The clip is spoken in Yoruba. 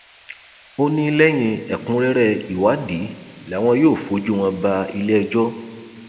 ó ní lẹyìn ẹkúnrẹrẹ ìwádìí làwọn yóò fojú wọn bá iléẹjọ